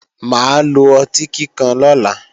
Mà á lo ọtí kíkan lọ́la